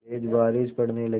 तेज़ बारिश पड़ने लगी